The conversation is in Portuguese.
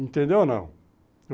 Entendeu ou não?